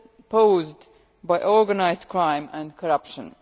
posed by organised crime and corruption.